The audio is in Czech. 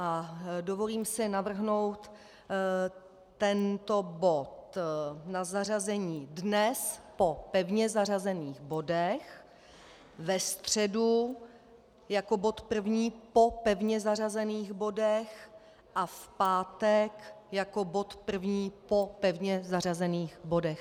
A dovolím si navrhnout tento bod na zařazení dnes po pevně zařazených bodech, ve středu jako bod první po pevně zařazených bodech a v pátek jako bod první po pevně zařazených bodech.